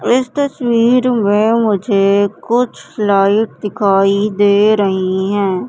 इस तस्वीर में मुझे कुछ फ्लाइट दिखाई दे रही है।